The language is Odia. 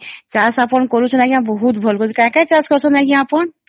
ଚାଷ ଆପଣ କରୁଛନ୍ତି ଆଂଜ୍ଞା ବହୁତ ଭଲ କରୁସନ କାଁ କାଁ ଚାଷ କରୁଛନ ଆପଣ ?